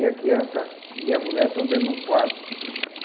E a criança e a mulher estão dentro de um quarto.